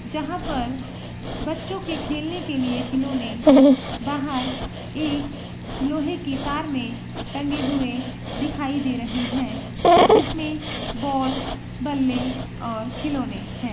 जहां पर बच्चों के खेलने के लिए खिलौने बाहर एक लोहे की तार में टंगे हुए दिखाई दे रहे है जिसमें बॉल बल्ले और खिलौने है।